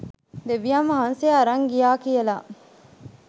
දෙවියන් වහන්සේ අරං ගියා කියලා.